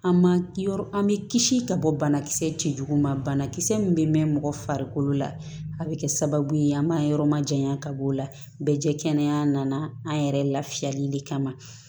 An ma an bɛ kisi ka bɔ banakisɛ cɛjugu ma banakisɛ min bɛ mɛn mɔgɔ farikolo la a bɛ kɛ sababu ye an b'a yɔrɔ ma janya ka bɔ o la bɛ jɛ kɛnɛya nana an yɛrɛ lafiyali de kama